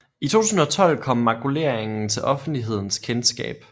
I 2012 kom makuleringen til offentlighedens kendskab